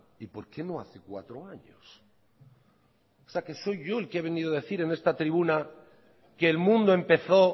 y por qué no hace cuatro años o sea que soy yo el que ha venido a decir en esta tribuna que el mundo empezó